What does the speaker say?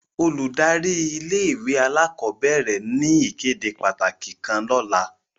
Óludari ìlé-ìwé àlàkọbẹrẹ ni ìkéde pataki kan lọla.